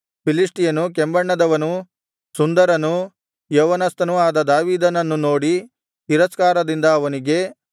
ಫಿಲಿಷ್ಟಿಯನು ಕೆಂಬಣ್ಣದವನೂ ಸುಂದರನೂ ಯೌವನಸ್ಥನೂ ಆದ ದಾವೀದನನ್ನು ನೋಡಿ ತಿರಸ್ಕಾರದಿಂದ ಅವನಿಗೆ